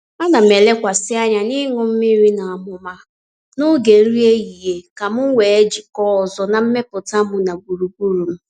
Ana m elekwasị anya n’iṅụ nri n’amụma n’oge nri ehihie ka m wee jikọọ ọzọ na mmetụta m na gburugburu m.